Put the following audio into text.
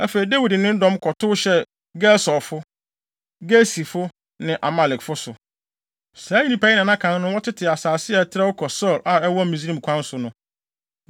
Afei, Dawid ne ne dɔm kɔtow hyɛɛ Gesurfo, Girsifo ne Amalekfo so. Saa nnipa yi na na kan no, wɔtete asase a ɛtrɛw kɔ Sur a ɛwɔ Misraim kwan so no.